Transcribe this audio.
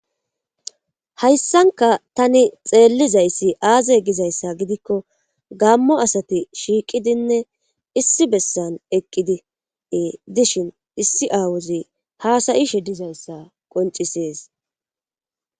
Hayssanka tani xeellizayssi aaze gizayssa gidikko gammo asati shiiqidinne issi bessan eqqidie dishin issi aawuzi haasayishe dizayssa qoncisees.